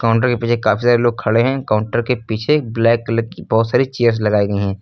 Counter के पीछे काफी सारे लोग खड़े हैं काउंटर के पीछे ब्लैक कलर की बहुत सारी चेयर्स लगाई गई हैं।